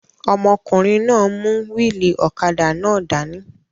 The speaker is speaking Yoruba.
Ọmọkùnrin náà n mú wíìlì ọ̀kadà náà dání